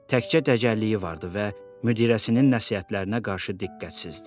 Təkcə dəcəlliyi vardı və müdirəsinin nəsihətlərinə qarşı diqqətsizdi.